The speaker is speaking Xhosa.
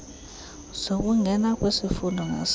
zokungena kwisifundo ngasinye